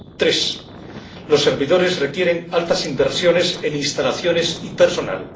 Tres, los servidores requieren altas inversiones en instalaciones y personal.